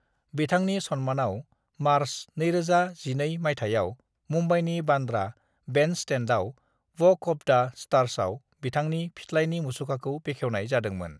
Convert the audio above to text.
बिथांनि सन्मानाव मार्च 2012 मायथाइयाव मुंबईनि बान्द्रा बेन्डस्टेन्डआव वक अफ द स्टार्सआव बिथांनि फिथलाइनि मुसुखाखौ बेखेवनाय जादोंमोन।